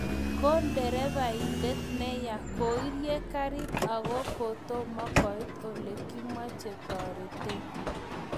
Ko derevaindet neya koirie karit akot kotomo koit ole kamache toretet